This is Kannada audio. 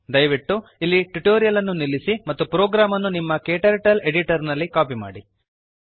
ದಯವಿಟ್ಟು ಇಲ್ಲಿ ಟ್ಯುಟೋರಿಯಲ್ ಅನ್ನು ನಿಲ್ಲಿಸಿ ಮತ್ತು ಪ್ರೋಗ್ರಾಮ್ ಅನ್ನು ನಿಮ್ಮ ಕ್ಟರ್ಟಲ್ ಎಡಿಟರ್ ನಲ್ಲಿ ಕಾಪಿ ಮಾಡಿ